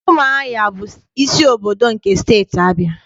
Ụmụahịa bụ isi obodo nke Steeti Abịa.